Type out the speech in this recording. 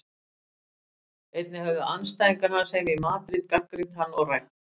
Einnig höfðu andstæðingar hans heima í Madríd gagnrýnt hann og rægt.